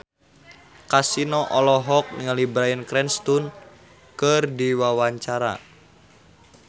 Kasino olohok ningali Bryan Cranston keur diwawancara